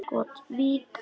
Skot: Vík.